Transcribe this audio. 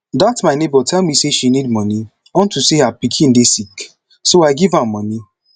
dat my neighbor tell me say she need money unto say her pikin dey sick so i give am money